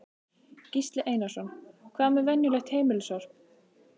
Gísli Einarsson: Hvað með venjulegt heimilissorp?